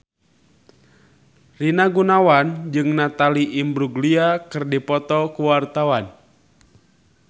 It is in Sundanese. Rina Gunawan jeung Natalie Imbruglia keur dipoto ku wartawan